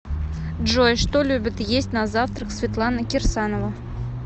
джой что любит есть на завтрак светлана кирсанова